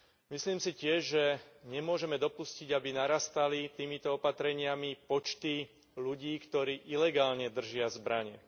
Myslím si tiež, že nemôžeme dopustiť, aby narastali týmito opatreniami počty ľudí, ktorí ilegálne držia zbrane.